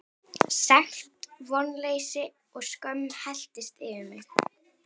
Sekt, vonleysi og skömm helltist yfir mig.